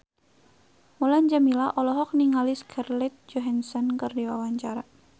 Mulan Jameela olohok ningali Scarlett Johansson keur diwawancara